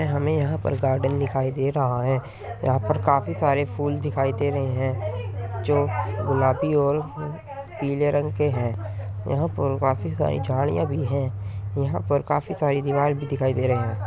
हमें यहाँ पर गार्डन दिखायी दे रहा है। यहाँ पर काफ़ी सारे फूल दिखाइ दे रहे है जो गुलाबी और पीले रंग की है यहाँ पर काफ़ी सारी झाड़ियाँ भी हैं। यहाँ पर काफ़ी सारी दीवाल भी दिखायी दे रहे है।